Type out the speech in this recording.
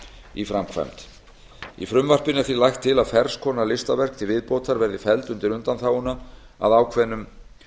í framkvæmd í frumvarpinu er því lagt til að ferns konar listaverk til viðbótar verði felld undir undanþáguna að ákveðnum